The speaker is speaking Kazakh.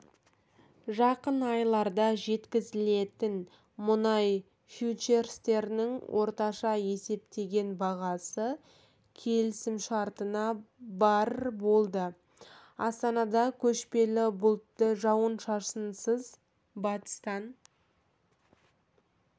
жақын айларда жеткізілетін мұнай фьючерстерінің орташа есептеген бағасы келісімшартына барр болды астанада көшпелі бұлтты жауын-шашынсыз батыстан